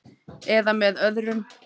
. eða með öðrum